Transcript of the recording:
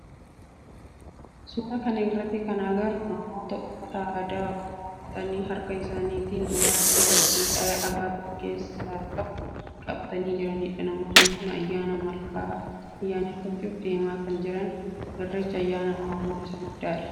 Suuraa kana irratti kana agarru namootaa uffata aadaa oromoo uffatanii harka isaanitti marga jiidhaa abaaboo of keessaa qabu qabatanii jiranidha . Namoonni kun ayyaana malkaa ayyaaneffachuf deemaa kan jiranidha. Irreechi ayyaana oromoo isa guddaadha.